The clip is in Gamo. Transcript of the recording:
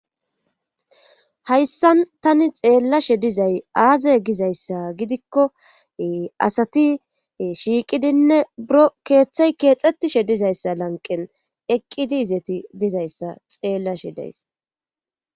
Hayssaan tani xeelashe dizay aaze gizayssa gidikko ee asti shiiqidinne e buro keethe keexettiishe dizeyssa lanqqen eqqidi izeti dizayssa xeelashe days.